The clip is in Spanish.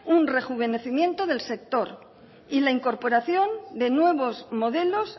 un rejuveneciendo del sector y la incorporación de nuevos modelos